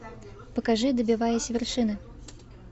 покажи добиваясь вершины